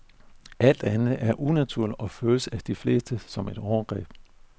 Alt andet er unaturligt og føles af de fleste som et overgreb.